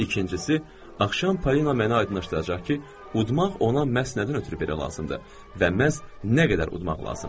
İkincisi, axşam Paulin mənə aydınlaşdıracaq ki, udmaq ona məhz nədən ötrü belə lazımdır və məhz nə qədər udmaq lazımdır.